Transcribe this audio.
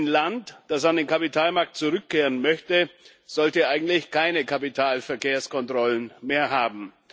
Ein Land, das an den Kapitalmarkt zurückkehren möchte, sollte ja eigentlich keine Kapitalverkehrskontrollen mehr haben.